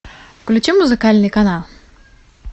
включи музыкальный канал